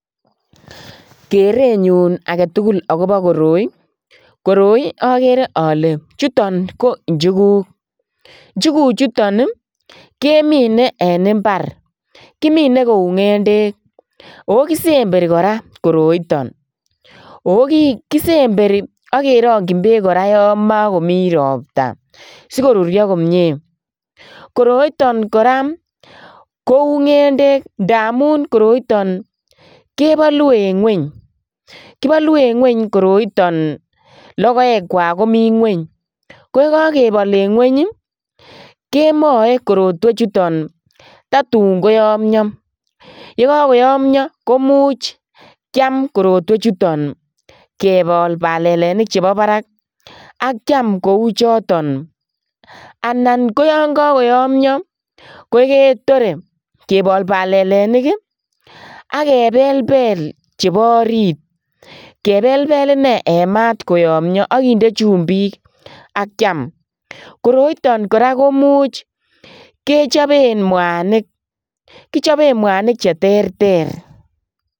Kerenyun agetugul akobo koroi ,koroi okere ole chuton ko inchukuk nchukuchuton kemine en imbar kimine kou ngendek oo kisemberi koraa koroiton, oo kisemberi ok keronchin beek yon mokomi ropta sikorurio komie, koroiton koraa kou ngendek ndamun koroiton kebolu en ngweny, kibolu en ngweny koroiton ndamun logoekwak komi ngweny yion kokebol en ngweny kemoe korotwechuton totun koyomio yekokoyomio komuch kaim koroiton kebol koroito nebo barak ak kiam choton anan koyon kokotomie ketore kebol balelenik ii ak kebelbel chebo orit kebel koyomio ak kinde chumbik ak kiam koroiton koraa koimuch kechoben mwanik kichoben mwanik cheterter.